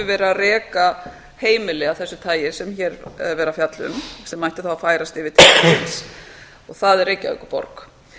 að reka heimili af þessu tagi sem hér er verið að fjalla um sem ætti þá að færa til ríkisins og það er reykjavíkurborg